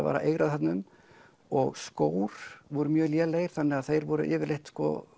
var að eigra þarna um og skór voru mjög lélegir þannig að þeir voru yfirleitt